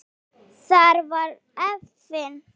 Þar var efinn.